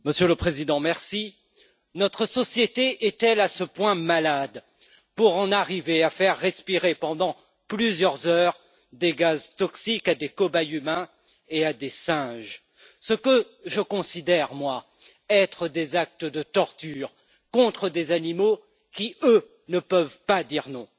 Monsieur le Président, notre société est elle à ce point malade pour en arriver à faire respirer pendant plusieurs heures des gaz toxiques à des cobayes humains et à des singes, ce que je considère être des actes de torture contre des animaux qui, eux, ne peuvent pas dire non?